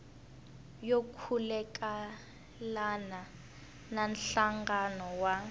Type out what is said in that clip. yo khulukelana na nhlangano wa